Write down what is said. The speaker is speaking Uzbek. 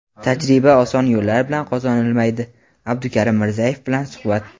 "Tajriba oson yo‘llar bilan qozonilmaydi" - Abdukarim Mirzayev bilan suhbat.